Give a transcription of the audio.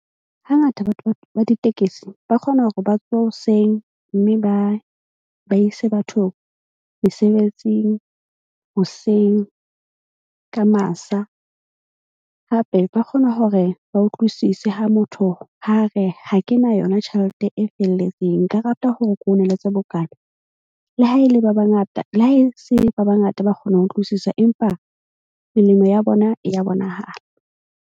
Hangata batho ba ditekesi ba kgona hore ba tsohe hoseng. Mme ba ise batho mesebetsing hoseng ka masa. Hape ba kgona hore ba utlwisise ha motho ha re ha ke na yona tjhelete e felletseng nka rata hore ke ho neletse bokana. Le ha e le ba bangata. Le ha e se ba bangata ba kgona ho utlwisisa, empa melemo ya bona e ya bonahala.